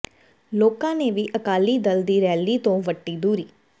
ਲੋਕਾਂ ਨੇ ਵੀ ਅਕਾਲੀ ਦਲ ਦੀ ਰੈਲੀ ਤੋਂ ਵੱਟੀ ਦੂਰੀ